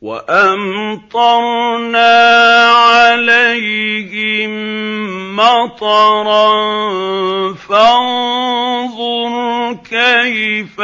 وَأَمْطَرْنَا عَلَيْهِم مَّطَرًا ۖ فَانظُرْ كَيْفَ